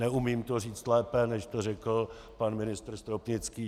Neumím to říct lépe, než to řekl pan ministr Stropnický.